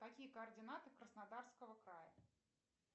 какие координаты краснодарского края